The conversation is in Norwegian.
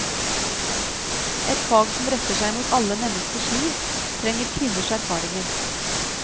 Et fag som retter seg mot alle menneskers liv, trenger kvinners erfaringer.